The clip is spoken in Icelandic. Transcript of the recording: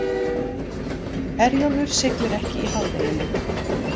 Herjólfur siglir ekki í hádeginu